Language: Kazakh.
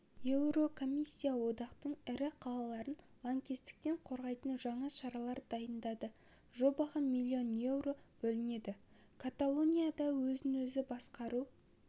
еурокомиссия одақтың ірі қалаларын лаңкестіктен қорғайтын жаңа шаралар дайындады жобаға миллион еуро бөлінеді каталонияда өзін-өзі басқару